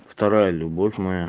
вторая любовь моя